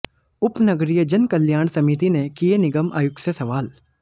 उपनगरीय जनकल्याण समिति ने किये निगम आयुक्त से सवाल